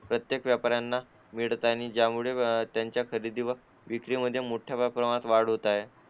प्रत्येक व्यापाऱ्यांना मिळत आणि ज्यामुळे त्यांच्या खरेदीवर विक्रीमध्ये मोठ्या प्रमाणात वाढ होत आहे